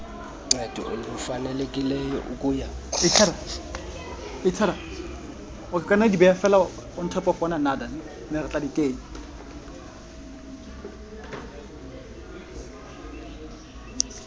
ncedo lufanelekileyo ukuya